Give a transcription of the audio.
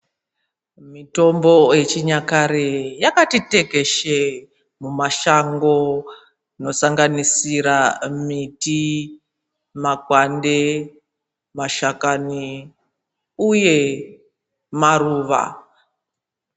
Mitombo yechinyakare yakati tekeshe mumashango, inosanganisira miti, makwande, mashakani uye maruva.